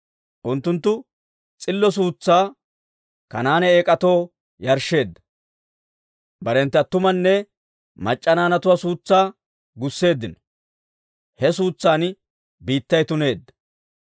Unttunttu, s'illo suutsaa Kanaane eek'atoo yarshsheeddino; barenttu attumanne mac'c'a naanatuwaa suutsaa gusseeddino; he suutsan biittay tuneedda.